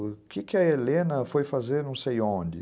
O que a Helena foi fazer não sei onde?